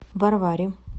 варваре